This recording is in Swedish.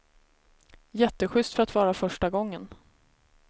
Jätteschyst för att vara första gången.